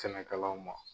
Sɛnɛkɛlaw ma